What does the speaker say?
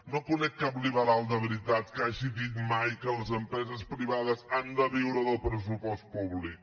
no conec cap liberal de veritat que hagi dit mai que les empreses privades han de viure del pressupost públic